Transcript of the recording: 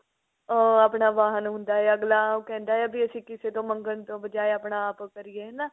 ah ਆਪਣਾ ਵਾਹਨ ਹੁੰਦਾ ਹੈ ਅਗਲਾ ਕਹਿੰਦਾ ਹੈ ਵੀ ਅਸੀਂ ਕਿਸੇ ਤੋਂ ਮੰਗਨ ਤੋਂ ਬਜਾਏ ਆਪਣਾ ਆਪ ਕਰੀਏ ਹਨਾ